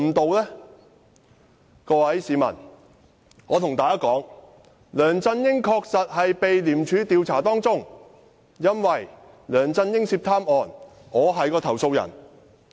我要告訴各位市民，梁振英確實正被廉署調查，因為我是梁振英涉貪案的投訴人。